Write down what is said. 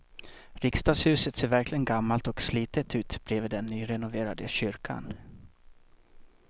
Riksdagshuset ser verkligen gammalt och slitet ut bredvid den nyrenoverade kyrkan.